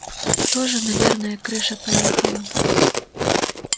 тоже наверное крыша поехала